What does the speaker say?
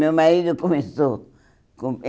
Meu marido começou com